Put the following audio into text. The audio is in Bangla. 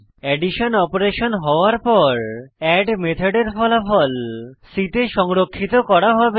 অ্যাডিশন অপারেশন হওয়ার পর এড মেথডের ফলাফল c তে সংরক্ষিত করা হবে